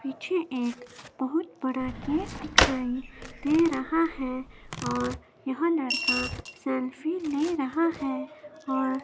पीछे एक बहुत बड़ा गेट दिखाई दे रहा है और यह लड़का सेल्फी ले रहा है और --